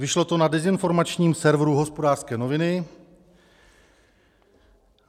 Vyšlo to na dezinformačním serveru Hospodářské noviny.